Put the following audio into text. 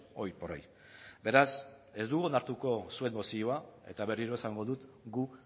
hoy por hoy beraz ez dugu onartuko zuen mozioa eta berriro esango dut gu